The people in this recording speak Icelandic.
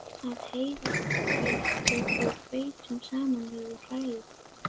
af heilhveitinu og hveitinu saman við og hrærið.